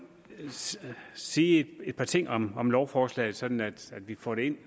sige et par ting om om lovforslaget sådan at vi får det ind